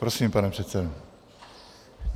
Prosím, pane předsedo.